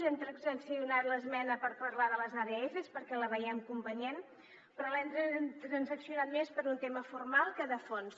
hem transaccionat l’esmena per parlar de les adfs perquè la veiem convenient però l’hem transaccionat més per un tema formal que de fons